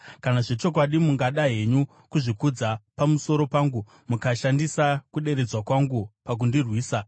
Kana zvechokwadi mungada henyu kuzvikudza pamusoro pangu mukashandisa kuderedzwa kwangu pakundirwisa,